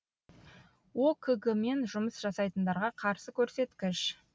окг мен жұмыс жасайтындарға қарсы көрсеткіш